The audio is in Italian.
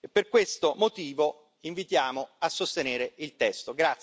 Per questo motivo invitiamo a sostenere il testo.